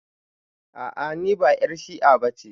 A a niba 'yar shi'a bace.